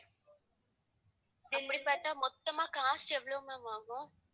அப்படி பார்த்தா மொத்தமா cost எவ்வளவு ma'am ஆகும்?